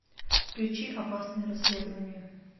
включи опасное расследование